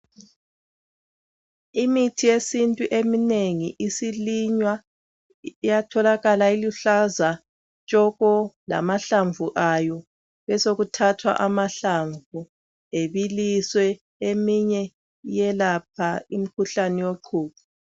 Imithi yesintu eminengi isilinywa, iyatholakala iluhlaza tshoko lamahlamvu ayo. Besekuthathwa amahlamvu ebiliswe, eminye eyelapha imikhuhlane wequqo.